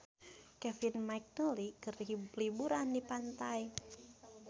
Kevin McNally keur liburan di pantai